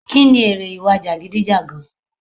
Kí ni èrè ìwà jagidijagan?